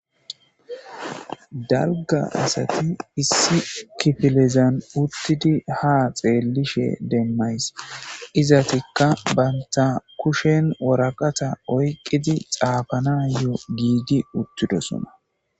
Dalga asati issi kifilezan uttidi haa xeellishin be'ashe de'ays. Izetika banta kushen waraqata oykidi xaafanayo giigetidi uttidoosona.